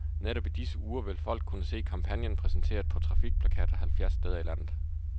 Netop i disse uger vil folk kunne se kampagnen præsenteret på trafikplakater halvfjerds steder i landet.